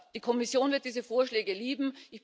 Die Kommission wird diese Vorschläge lieben.